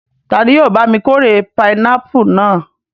Ta ni yóò bá mi kórè pinápù náà?